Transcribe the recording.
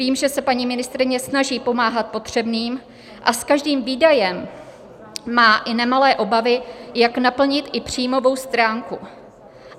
Vím, že se paní ministryně snaží pomáhat potřebným a s každým výdajem má i nemalé obavy, jak naplnit i příjmovou stránku.